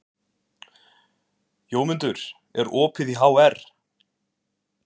Jómundur, er opið í HR?